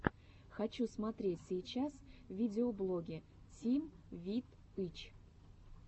хочу смотреть сейчас видеоблоги тим вит ы ч